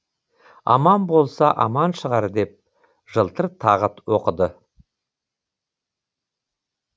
аман болса аман шығар деп жылтыр тағы оқыды